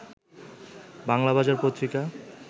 Banglabazar Patrika